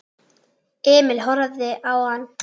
Emil horfði á hann.